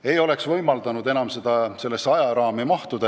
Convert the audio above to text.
See ei oleks võimaldanud olemasolevasse ajaraami mahtuda.